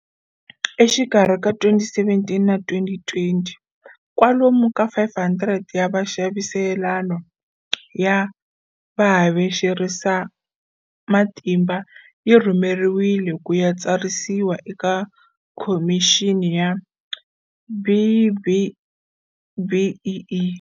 Exikarhi ka 2017 na 2020, kwalomu ka 500 ya vaxaviselano ya havexerisamatimba yi rhumeriwile ku ya tsarisiwa eka Khomixini ya BBBEE.